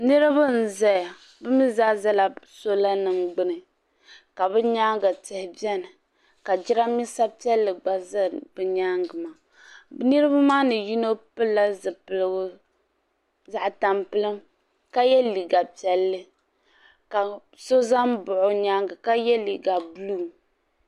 Niriba n zaya bi mi zaa zala sola nim gbuni ka bi nyaanga tihi bɛni ka jiranbiisa piɛlli gba za bi nyaanga maa niriba maa ni yino pili la zipiligu zaɣa tampilim ka yɛ liiga piɛlli ka so za n baɣa o nyaanga ka yɛ liiga buluu.